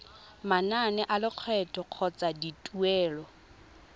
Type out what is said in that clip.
manane a lekgetho kgotsa dituelo